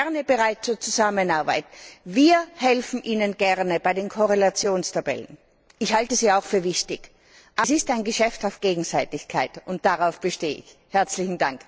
Ich bin gerne bereit zur Zusammenarbeit. Wir helfen Ihnen gerne bei den Korrelationstabellen. Ich halte sie auch für wichtig. Es ist ein Geschäft auf Gegenseitigkeit und darauf bestehe ich.